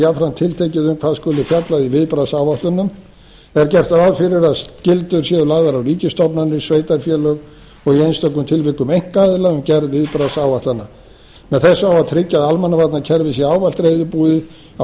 jafnframt tiltekið um hvað skuli fjallað í viðbragðsáætlunum er gert ráð fyrir að skyldur séu lagðar á ríkisstofnanir sveitarfélög og í einstökum tilvikum einkaaðila um gerð viðbragðsáætlana með þessu á að tryggja að almannavarnakerfið sé ávallt reiðubúið á